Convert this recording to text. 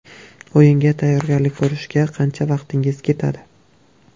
O‘yinga tayyorgarlik ko‘rishga qancha vaqtingiz ketadi?